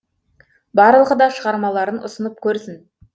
барлығы да шығармаларын ұсынып көрсін